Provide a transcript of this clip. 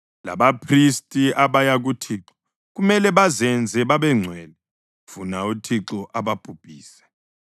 Labaphristi abaya kuThixo kumele bazenze babengcwele, funa uThixo ababhubhise.”